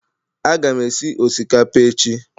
Aga m esi osikapa echi